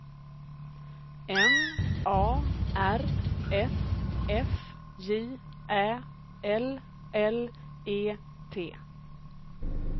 M A R S F J Ä L L E T